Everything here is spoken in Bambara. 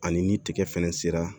Ani ni tigɛ fɛnɛ sera